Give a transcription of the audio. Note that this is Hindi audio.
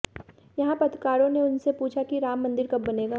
यहां पत्रकारों ने उनसे पूछा कि राम मंदिर कब बनेगा